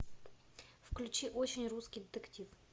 включи очень русский детектив